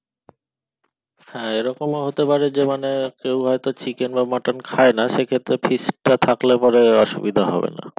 হ্যাঁ এরকম ও হতে পারে মানে কেউ হয়তো chicken বা mutton খাইনা সেই ক্ষেত্রে fish টা থাকলে পরে অসুবিধা হয়না